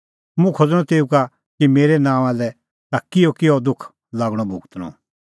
मुंह खोज़णअ तेऊ का कि मेरै नांओंआं लै ताह किहअकिहअ दुख लागणअ भुगतणअ